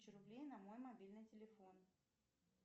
тысячу рублей на мой мобильный телефон